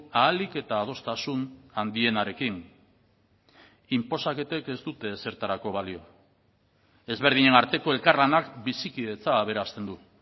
ahalik eta adostasun handienarekin inposaketek ez dute ezertarako balio ezberdinen arteko elkarlanak bizikidetza aberasten du